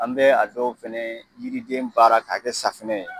An bɛ a dɔw fɛnɛ yiriden baara ka kɛ safunɛ ye.